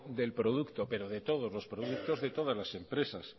del producto pero de todos los productos de todas las empresas